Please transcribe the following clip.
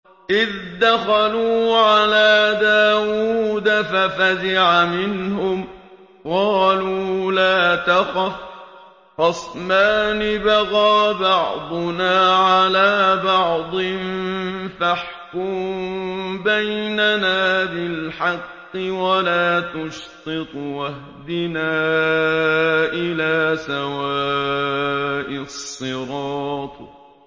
إِذْ دَخَلُوا عَلَىٰ دَاوُودَ فَفَزِعَ مِنْهُمْ ۖ قَالُوا لَا تَخَفْ ۖ خَصْمَانِ بَغَىٰ بَعْضُنَا عَلَىٰ بَعْضٍ فَاحْكُم بَيْنَنَا بِالْحَقِّ وَلَا تُشْطِطْ وَاهْدِنَا إِلَىٰ سَوَاءِ الصِّرَاطِ